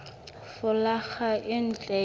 folaga e ntle ka ho